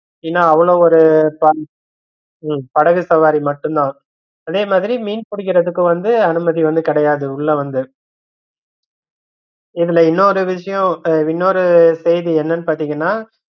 இன்னு அவ்வளவு ஒரு உம் படகு சவாரி மட்டும்தா அதே மாதிரி மீன் பிடிக்கறதுக்கு வந்து அனுமதி வந்து கிடையாது உள்ள வந்து இதுல இன்னொரு விஷயம் அஹ் இன்னொரு செய்தி என்னனு பாத்தீங்கன்னா